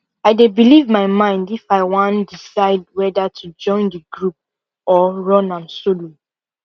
i dey belive my mind if i wan decide weda to join the group or run am solo